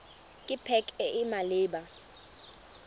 ke pac e e maleba